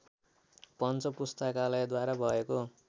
पञ्च पुस्तकालयद्वारा भएको